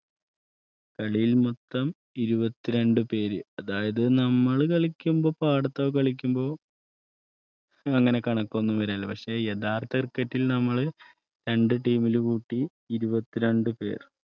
കളിയിൽ മൊത്തം ഇരുപത്തിരണ്ട് പേര് അതായത്നമ്മൾ കളിക്കുമ്പോ പാടത്തൊക്കെ കളിക്കുമ്പോഅങ്ങനെ കണക്കൊന്നു വരാറില്ല. പക്ഷേ യഥാർത്ഥ cricket റ്റ്ൽ നമ്മൾ രണ്ട് ടീമിലും കൂട്ടി ഇരുപത്തിരണ്ട് പേർ